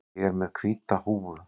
Ég er með hvíta húfu.